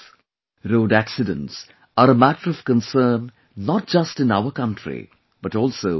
Road accidents are a matter of concern not just in our country but also the world over